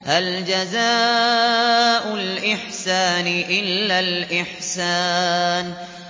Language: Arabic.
هَلْ جَزَاءُ الْإِحْسَانِ إِلَّا الْإِحْسَانُ